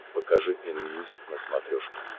покажи энмьюзик на смотрешке